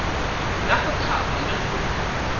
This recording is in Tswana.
ya go thapa le go